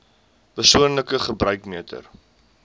persoonlike gebruik meter